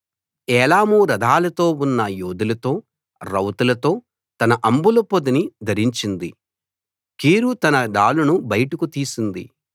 ఏలాము రథాలతో ఉన్న యోధులతో రౌతులతో తన అంబుల పొదిని ధరించింది కీరు తన డాలును బయటకు తీసింది